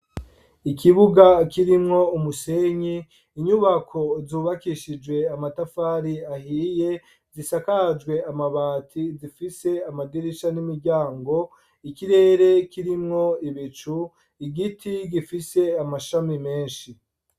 Ikibuga kirimwo umusenyi, inyubako zubakishije amatafari ahiye, zisakajwe amabati, zifise amadirisha n'imiryango, ikirere kirimwo ibicu, igiti gifise amashami menshi.